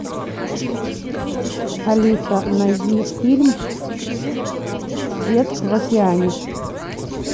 алиса найди фильм свет в океане